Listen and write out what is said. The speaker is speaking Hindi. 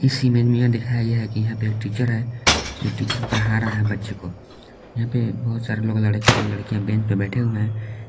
इस इमेज में यह दिखाया गया है कि यहां पे एक टीचर है ये टीचर पढ़ा रहा है बच्चे को यहां पे बहुत सारे लड़के और लड़कियां बेंच पर बैठे है।